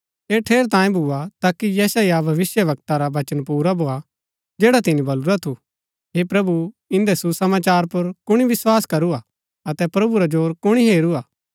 ऐह ठेरैतांये भूआ ताकि यशायाह भविष्‍यवक्ता रा वचन पुरा भोआ जैडा तिनी बलुरा थू हे प्रभु इन्दै सुसमाचार पुर कुणी विस्वास करू हा अतै प्रभु रा जोर कुणी हेरू हा